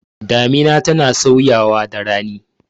Damina tana sauyawa da rani.